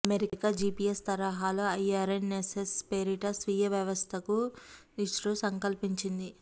America GPS తరహాలో IRNSS పేరిట స్వీయ వ్యవస్థకు ఇస్రో సంకల్పించింది